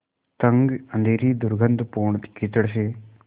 तंग अँधेरी दुर्गन्धपूर्ण कीचड़ से